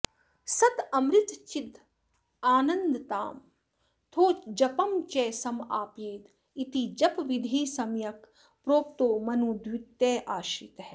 सदमृतचिदानन्दात्माथो जपं च समापयेद् इति जपविधिः सम्यक् प्रोक्तो मनुद्वितयाश्रितः